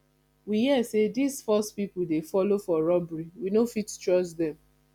we hear sey dese force pipo dey folo for robbery we no fit trust dem